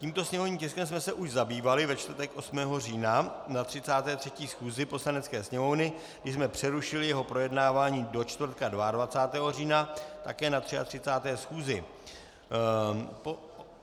Tímto sněmovním tiskem jsme se už zabývali ve čtvrtek 8. října na 33. schůzi Poslanecké sněmovny, kdy jsme přerušili jeho projednávání do čtvrtka 22. října, také na 33. schůzi.